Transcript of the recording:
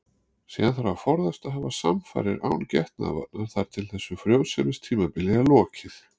Síðan þarf að forðast að hafa samfarir án getnaðarvarna þar til þessu frjósemistímabili er lokið.